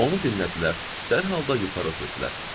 Onu dinlədilər, dərhal da yuxarı ötürdülər.